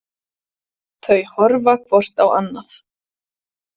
Þau horfa hvort á annað.